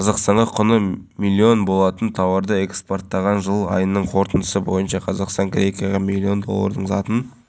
қазір бұл жердегі абаттандыру жұмыстарының пайызы аяқталған қалғаны алдағы бір жұманың ішінде тиянақталады деген жоспар бар